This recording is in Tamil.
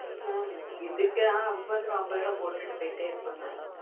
mam அம்பதுரூபா அம்பதுரூபா போட்டு போய்டே இருப்ப mam